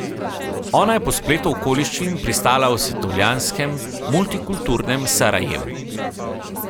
Ona je po spletu okoliščin pristala v svetovljanskem, multikulturnem Sarajevu.